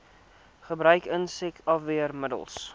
gebruik insek afweermiddels